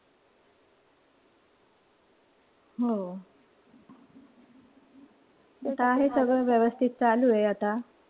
हो. आता आहे सगळं व्यवस्थित चालू आहे आता.